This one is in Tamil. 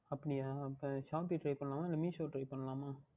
அப்படியா அப்பொழுது Meesho Try பண்ணலாமா இல்லை Shopee Try பண்ணலாமா